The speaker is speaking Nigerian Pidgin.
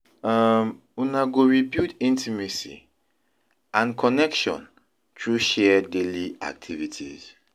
um una go rebuild intimacy and connection through share daily activities.